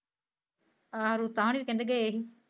ਹਾਂ ਰੁੱਤਾਂ ਹੋਣੀ ਵੀ ਕਹਿੰਦੇ ਗਏ ਸੀ।